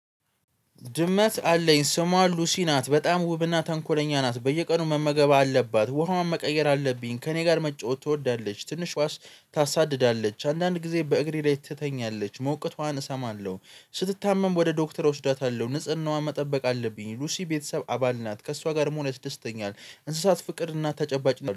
ድመት አለኝ ስሟ ሉሲ ናት በጣም ውብና ተንኮለኛ ናት። በየቀኑ መመገብ አለባት ውሃዋን መቀየር አለብኝ ከእኔ ጋር መጫወት ትወዳለች። ትንሽ ታሳድዳለች አንዳንድ ጊዜ በእግሬ ላይ ትተኛለች ሞቅታዋን እሰማለሁ። ስትታመም ወደ ዶክተር እወስዳታለሁ ንጽህናዋን መጠበቅ አለብኝ። ሉሲ ቤተሰብ አባል ናት ከእሷ ጋር መሆን ያስደስተኛል። እንስሳት ፍቅር እናት ተጨባጭ